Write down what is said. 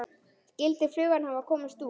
Skyldi flugan hafa komist út?